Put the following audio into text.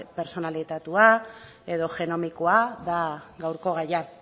pertsonalizatua edo genomikoa da gaurko gaia